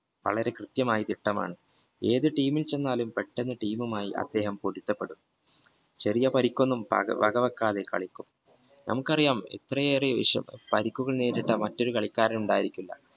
വളരെ കൃത്യമായ തിട്ടമാണ് ഏത് ടീമിൽ ചെന്നാലും പെട്ടെന്ന് ടീമുമായി പൊരുത്തപ്പെടും ചെറിയ പരിക്കുകൾ ഒന്നും വക വെക്കാതെ കളിക്കുന്നു നമുക്കറിയാം ഇത്രയേറെ പരിക്കുകൾ നേരിട്ട് മറ്റൊരു കളിക്കാരൻ ഉണ്ടായിരിക്കില്ല